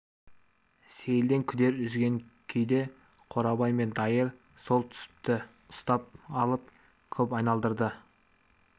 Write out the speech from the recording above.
сейілден күдер үзген күйде қорабай мен дайыр сол түсіпті ұстап алып көп айналдырды